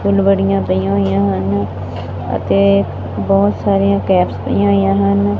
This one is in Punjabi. ਫੁੱਲ ਵੜੀਆਂ ਪਈਆਂ ਹੋਈਆਂ ਹਨ ਅਤੇ ਬਹੁਤ ਸਾਰੀਆਂ ਕੈਪਸ ਪਈਆਂ ਹੋਈਆਂ ਹਨ।